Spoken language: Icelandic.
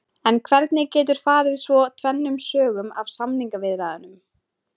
En hvernig getur farið svo tvennum sögum af samningaviðræðunum?